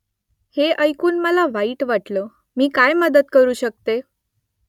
हे ऐकून मला वाईट वाटलं . मी काय मदत करू शकते ?